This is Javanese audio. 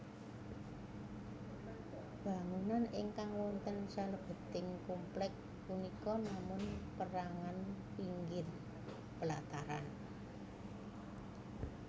Bangunan ingkang wonten salebeting komplèk punika namun perangan pinggir pelataran